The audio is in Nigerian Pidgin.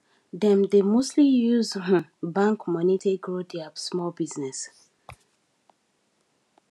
dem dey mostly use um bank money take grow their small business